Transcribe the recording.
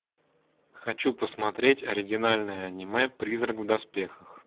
хочу посмотреть оригинальное аниме призрак в доспехах